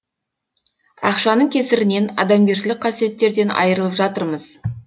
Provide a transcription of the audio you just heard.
ақшаның кесірінен адамгершілік қасиеттерден айырылып жатырмыз